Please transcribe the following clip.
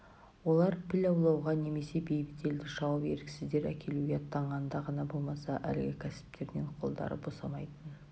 олар піл аулауға немесе бейбіт елді шауып еріксіздер әкелуге аттанғанда ғана болмаса әлгі кәсіптерінен қолдары босамайтын